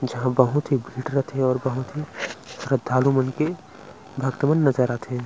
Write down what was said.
जहाँ बहुत ही भीड़ रथे अउ बहुत ही श्रद्धालु मन के भक्त मन नज़र आथे।